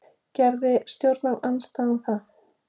Gerði stjórnarandstaðan það?